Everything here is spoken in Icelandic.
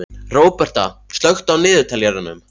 Róberta, slökktu á niðurteljaranum.